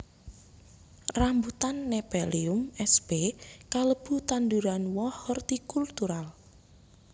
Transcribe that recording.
Rambutan Nephelium sp kalebu tanduran woh hortikultural